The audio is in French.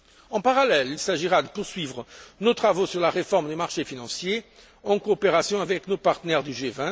En parallèle, il s'agira de poursuivre nos travaux sur la réforme des marchés financiers, en coopération avec nos partenaires du